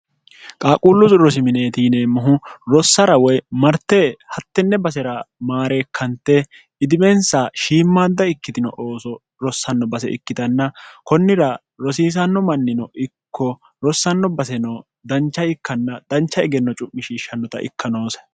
qaaquullu rosimineeti yineemmohu rossara woy marte hattenne basera maareekkante idimensa shiimmaadda ikkitino ooso rossanno base ikkitanna kunnira rosiisanno mannino ikko rossanno baseno dancha ikkanna dancha egenno cu'mishiishshannota ikka noose